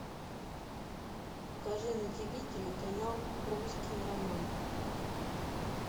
покажи на тиви телеканал русский роман